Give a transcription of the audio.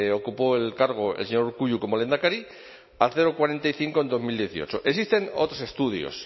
ocupó el cargo el señor urkullu como lehendakari al cero coma cuarenta y cinco en bi mila hemezortzi existen otros estudios